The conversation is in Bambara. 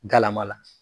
Galama la